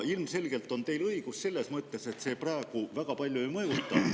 Ilmselgelt on teil õigus, et see väga palju ei mõjuta.